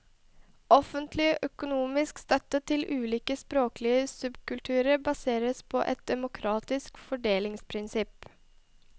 Offentlig økonomisk støtte til ulike språklige subkulturer baseres på et demokratisk fordelingsprinsipp.